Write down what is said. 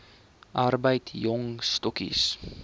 arbeid jong stokkies